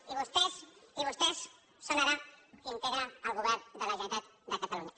i vostès són ara els que integren el govern de la generalitat de catalunya